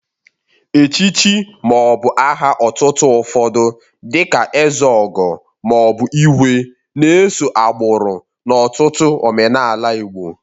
Echichi ma ọ bụ aha ọtụtụ ụfọdụ dị ka ezeogo ma ọ bụ igwe na-eso n'agbụrụ n'ọtụtụ omenaala Igbo.